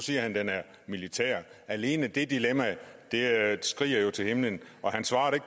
siger han den er militær alene det dilemma skriger jo til himlen han svarede